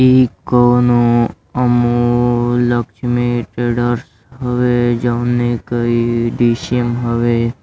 इ कौनो अमूल लक्ष्मी ट्रेडर्स हवे जौने क ई हवे।